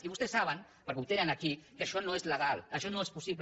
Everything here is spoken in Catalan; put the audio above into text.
i vostès saben perquè ho tenen aquí que això no és legal això no és possible